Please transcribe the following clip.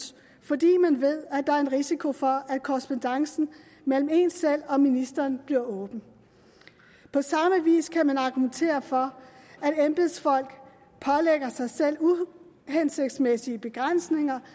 fordi man ved at der er en risiko for at korrespondancen mellem én selv og ministeren bliver åben på samme vis kan man argumentere for at embedsfolk pålægger sig selv uhensigtsmæssige begrænsninger